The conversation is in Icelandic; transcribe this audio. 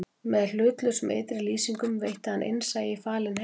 Með hlutlausum ytri lýsingum veitti hann innsæi í falinn heim